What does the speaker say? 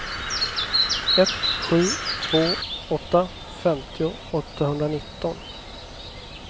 ett sju två åtta femtio åttahundranitton